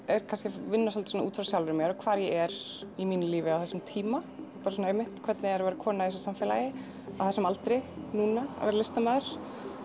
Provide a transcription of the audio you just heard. er kannski að vinna svolítið svona út frá sjálfri mér og hvar ég er í mínu lífi á þessum tíma bara svona einmitt hvernig er að vera kona í þessu samfélagi á þessum aldri núna að vera listamaður